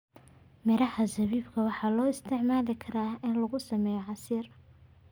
Miraha zabibu waxaa loo isticmaali karaa in lagu sameeyo casiir.